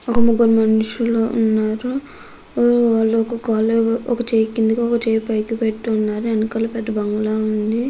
ఒక ముగ్గురు మనుషులు ఉన్నారు. వాళ్ళు ఒక చెయ్యి కిందకి ఒక చెయ్యి పైకి పెట్టి ఉన్నారు. వెనకాల ఒక పెద్ధ బంగాళా ఉంది.